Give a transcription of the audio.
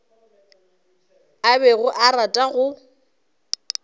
a bego a rata go